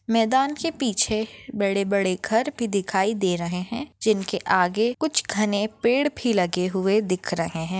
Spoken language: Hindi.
मैदान के पीछे बड़े-बड़े घर भी दिखाई दे रहे है जिनके आगे कुछ घने पेड़ भी लगे हुए दिख रहे है।